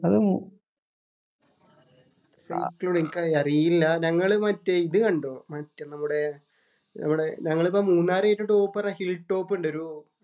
അത് മൂ എനിക്കറിയില്ല. ഞങ്ങള് മറ്റേ ഇത് കണ്ടു. മറ്റേ നമ്മുടെ നമ്മുടെ ഞങ്ങള് മൂന്നാറ് കഴിഞ്ഞിട്ട് ഒരു ടോപ്പ് ഹില്‍ ടോപ്പ് ഉണ്ട്. ഒരു